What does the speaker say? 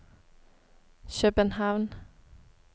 København